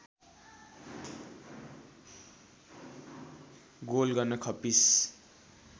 goal गर्न खप्पिस